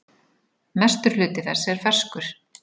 Mestur hluti þess er ferskur.